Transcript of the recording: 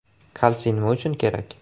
Kalsiy nima uchun kerak?